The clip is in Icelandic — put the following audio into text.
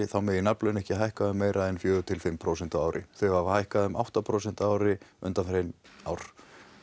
þá megi nafnlaun ekki hækka um meiri en fjögur til fimm prósent á ári þau hafa hækkað um átta prósent á ári undanfarin ár